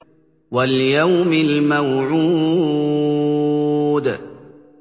وَالْيَوْمِ الْمَوْعُودِ